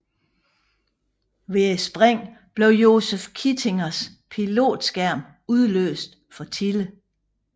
Ved springet blev Joseph Kittingers pilotskærm udløst for tidligt